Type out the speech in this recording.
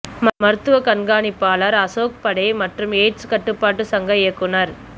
மருத்துவ கண்காணிப்பாளர் அசோக் படே மற்றும் எய்ட்ஸ் கட்டுப்பாட்டு சங்க இயக்குனர்